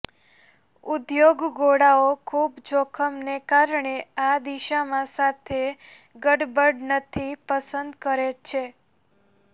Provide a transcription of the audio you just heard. ઉદ્યોગ ગોળાઓ ખૂબ જોખમને કારણે આ દિશામાં સાથે ગડબડ નથી પસંદ કરે છે